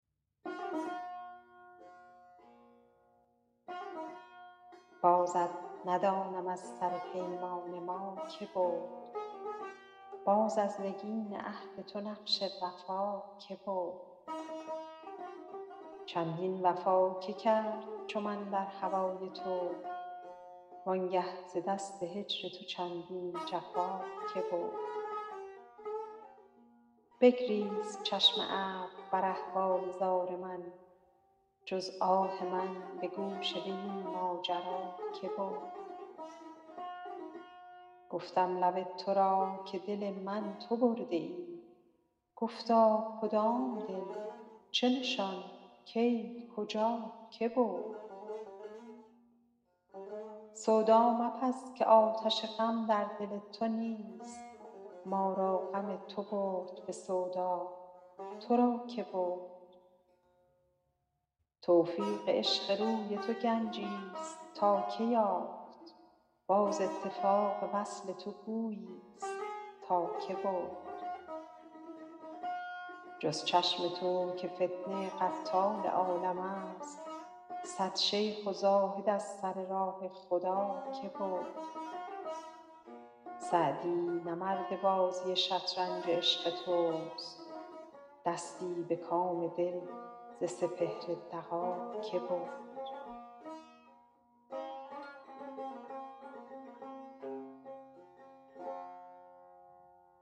بازت ندانم از سر پیمان ما که برد باز از نگین عهد تو نقش وفا که برد چندین وفا که کرد چو من در هوای تو وان گه ز دست هجر تو چندین جفا که برد بگریست چشم ابر بر احوال زار من جز آه من به گوش وی این ماجرا که برد گفتم لب تو را که دل من تو برده ای گفتا کدام دل چه نشان کی کجا که برد سودا مپز که آتش غم در دل تو نیست ما را غم تو برد به سودا تو را که برد توفیق عشق روی تو گنجیست تا که یافت باز اتفاق وصل تو گوییست تا که برد جز چشم تو که فتنه قتال عالمست صد شیخ و زاهد از سر راه خدا که برد سعدی نه مرد بازی شطرنج عشق توست دستی به کام دل ز سپهر دغا که برد